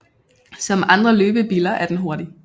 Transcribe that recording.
Som andre løbebiller er den hurtig